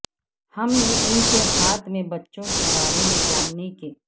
ہم نے ان کے ہاتھ میں بچوں کے بارے میں جاننے کے